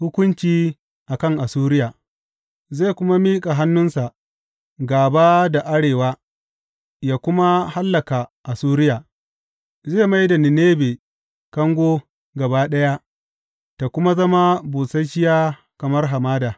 Hukunci a kan Assuriya Zai kuma miƙa hannunsa gāba da arewa yă kuma hallaka Assuriya, zai mai da Ninebe kango gaba ɗaya ta kuma zama busasshiya kamar hamada.